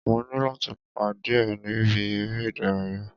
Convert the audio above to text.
Mo ní láti pàdé ẹ̀ ni ibi eré ìdárayá.